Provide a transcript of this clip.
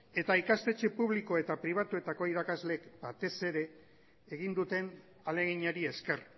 eta ikastetxe publiko eta pribatuetako batez ere egin duten ahaleginari esker